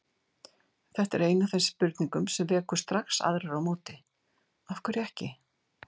Þetta er ein af þeim spurningum sem vekur strax aðrar á móti: Af hverju ekki?